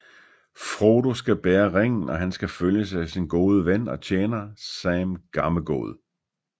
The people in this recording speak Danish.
Frodo skal bære ringen og han skal følges af sin gode ven og tjener Sam Gammegod